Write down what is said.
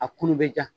A kun bɛ ja